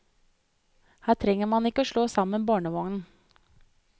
Her trenger man ikke slå sammen barnevognen.